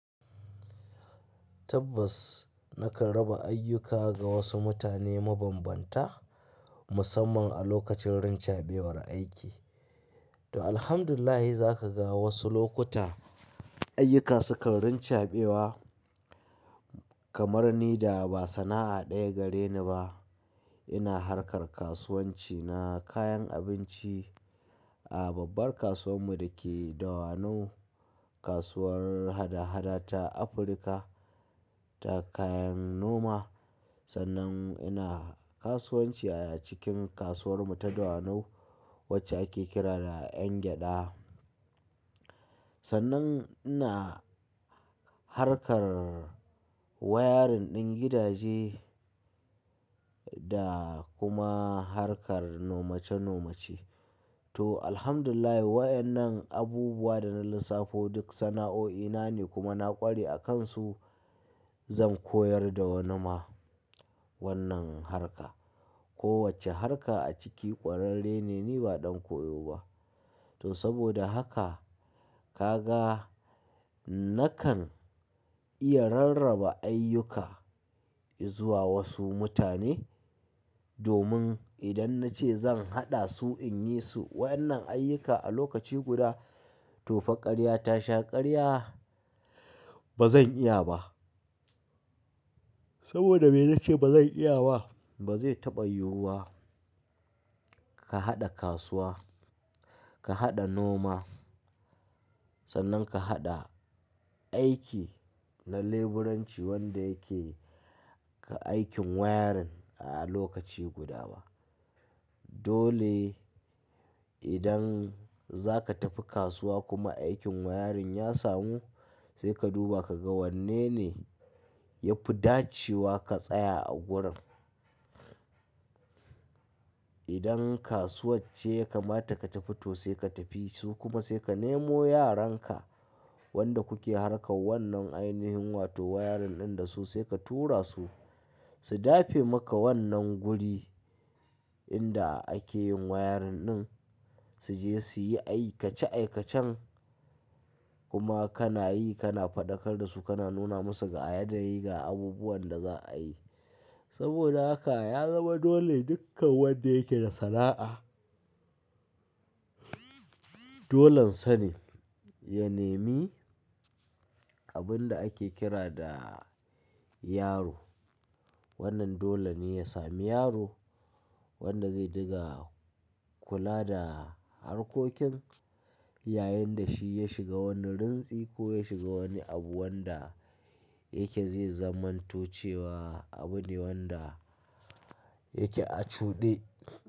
Tabbas nakan raba ayyuka ga wasu mutane mabambanta musamman a lokacin rincabewar aiki. To alhamdulillah za ka ga wasu lokuta ayyuka sukan rincabewa kamar ni da ba sana'a ɗaya gare ni ba. Ina harkar kasuwanci na kayan abinci a babbar kasuwar mu da ke Dawanau, kasuwar hada-hada ta Africa ta kayan noma. Sannan ina kasuwanci a cikin kasuwar mu ta Dawanau wacce ake kira da 'Yan gyada. Sannan ina harkar wayarin din gidaje da kuma harkar noma ce noma ce. To alhamdulillahi waɗannan abubuwa da na lissafo duk sana'o'ina ne kuma na ƙware a kansu. Zan koyar da wani ma wannan harka. Ko wacce harka a ciki ƙwararre ne, ni ba ɗan koyo ba. To saboda haka ka ga nakan iya rarraba ayyuka izuwa wasu mutane domin idan na ce zan haɗa su in yi su waɗannan ayyuka a lokaci guda to fa ƙarya ta sha ƙarya. Ba zan iya ba. Saboda me na ce ba zan iya ba, ba zai taɓa yiwuwa ka haɗa kasuwa, ka haɗa noma sannan ka haɗa aiki na leburanci wanda yake ka aikin wayarin a lokaci guda ba. Dole idan za ka tafi kasuwa kuma aikin wayarin ya samu sai ka duba ka ga wanne ne ya fi dacewa ka tsaya a gurin. Idan kasuwar ce ya kamata ka tafi to sai ka tafi su kuma sai ka nemo yaran ka wanda kuke harkar wannan ainihin wato wayarin ɗin da su sai ka tura su, su dafe maka wannan guri inda ake yin wayarin ɗin. Su je su yi aikace aikacen kuma kana yi kana faɗakar da su kana nuna musu ga yanayi ga abubuwan da za a yi. Saboda haka ya zama dole dukkan wanda yake da sana'a dolon sa ne ya nemi abun da ake kira da yaro. Wannan dole ne ya sami yaro wanda zai dinga kula da harkokin yayin da shi ya shiga wani rintsi ko ya shiga wani abu wanda yake zai zamanto cewa abu ne wanda yake a cuɗe.